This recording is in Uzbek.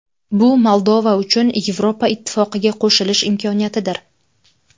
Bu Moldova uchun Yevropa Ittifoqiga qo‘shilish imkoniyatidir.